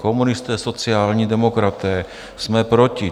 Komunisté, sociální demokraté: Jsme proti.